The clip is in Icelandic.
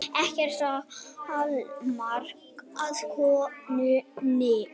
Ekkert amar að konunni